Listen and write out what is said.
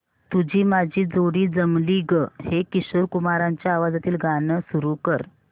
तुझी माझी जोडी जमली गं हे किशोर कुमारांच्या आवाजातील गाणं सुरू कर